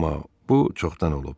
Amma bu çoxdan olub.